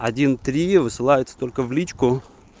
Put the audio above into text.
один три высылается только в личку